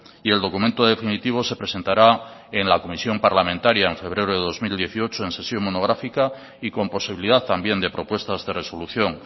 y el documento definitivo se presentará en la comisión parlamentaria en febrero de dos mil dieciocho en sesión monográfica y con posibilidad también de propuestas de resolución